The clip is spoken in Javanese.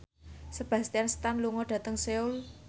Sebastian Stan lunga dhateng Seoul